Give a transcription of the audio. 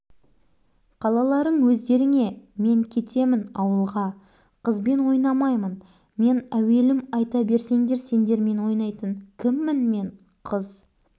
қалаларың өздеріңе мен кетемін ауылға қызбен ойнамаймын мен әуелім айта берсеңдер сендермен ойнайтын кіммін мен қыз